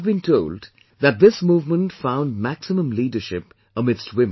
I have been told that this movement found maximum leadership amidst women